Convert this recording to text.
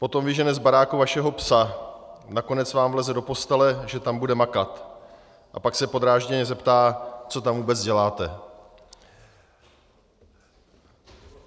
Potom vyžene z baráku vašeho psa, nakonec vám vleze do postele, že tam bude makat, a pak se podrážděně zeptá, co tam vůbec děláte."